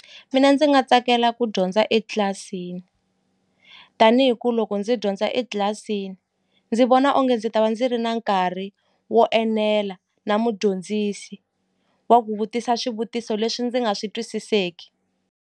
Mina ndzi nga tsakela ku dyondza etlilasini tani hi ku loko ndzi dyondza etlilasini ndzi vona onge ndzi ta va ndzi ri na nkarhi wo enela na mudyondzisi wa ku vutisa swivutiso leswi ndzi nga swi twisiseki.